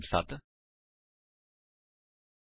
Eclipse ਦੀ ਵਰਤੋ ਕਰਕੇ ਜਾਵਾ ਵਿੱਚ ਡਿਫਾਲਟ ਕੰਸਟਰਕਟਰ ਕਿਵੇਂ ਬਣਾਈਏ